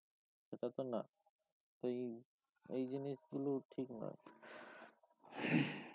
সেটা তো না এই এই জিনিসগুলো ঠিক না